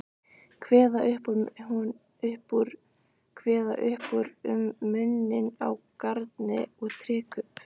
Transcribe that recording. Kveða upp úr um muninn á garni og trékubb.